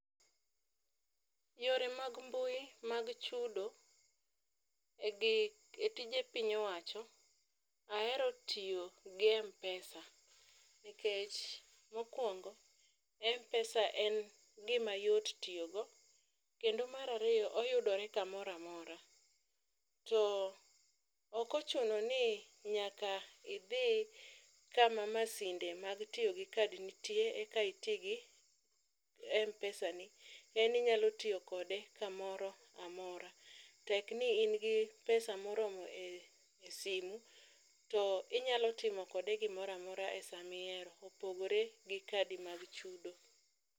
Yore mag mbui mag chudo e tije piny owacho ahero tiyo gi mpesa nikech mokwongo mpesa en gima yot tiyogo kendo mar ariyo oyudore kamoro amora, to ok oochuno ni nyaka idhi kama masinde mag tiyo gi kad nitie eka iti gi mpesani, en inyalo tiyo kode kamoro amora tekni in gi pesa moromo e simu to inyalo timo kode gimoro amora e sama ihero, opogore gi kadi mag chudo.